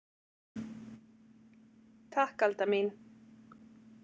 Takk Alda mín.